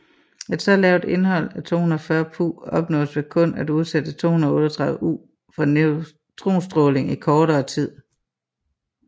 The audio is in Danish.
Et så lavt indhold af 240Pu opnås ved kun at udsætte 238U for neutronstråling i kortere tid